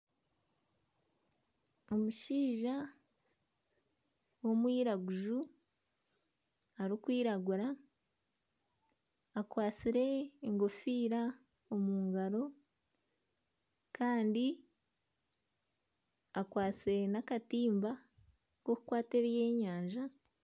Omushaija w'omwiraguju arikwiragura akwatsire enkofiira omu ngaro kandi akwasire n'akatimba k'okukwata ebyenyanja.